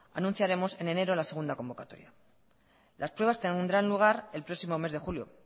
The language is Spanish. anunciaremos en enero la segunda convocatoria las pruebas tendrán lugar el próximo mes de julio